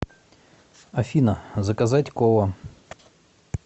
афина заказать кола